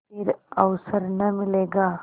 फिर अवसर न मिलेगा